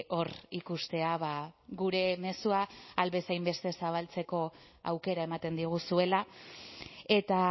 hor ikustea gure mezua ahal bezain beste zabaltzeko aukera ematen diguzuela eta